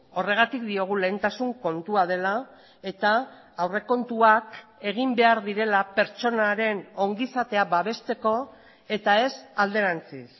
horregatik diogu lehentasun kontua dela eta aurrekontuak egin behar direla pertsonaren ongizatea babesteko eta ez alderantziz